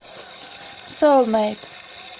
соулмэйт